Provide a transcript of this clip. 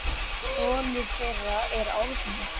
Sonur þeirra er Árni.